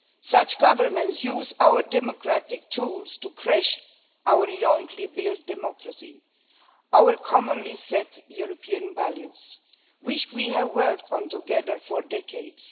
Such governments use our democratic tools to crash our jointly built democracy, our commonly set European values, which we have worked on together for decades.